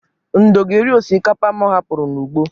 Ndo ga-eri osikapa mụ hapụrụ n'ugbo.